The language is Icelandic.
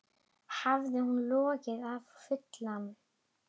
Hafði hún logið hann fullan?